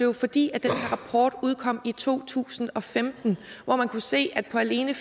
det fordi den her rapport udkom i to tusind og femten og man kunne se at alene